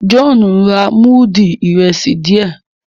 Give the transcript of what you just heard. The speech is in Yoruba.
John ń rà mudu Ìrẹsí díẹ